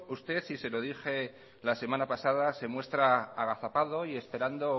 usted y se lo dije la semana pasada se muestra agazapado y esperando